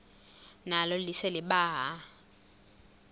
nalo lise libaha